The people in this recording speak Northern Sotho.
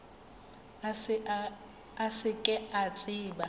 a se ke a tseba